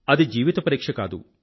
అది జీవిత పరీక్ష కాదు